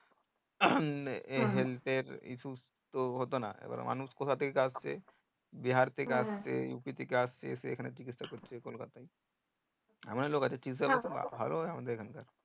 health এর issue তো হতোনা এবার মানুষ কতথা থেকে আসছে বিহার থেকে আসছে উইপি থেকে আসছে এসে এখানে চিকিৎসা করছে কলকাতায় এমন লোক আছে ভালোও লাগবে এখনকার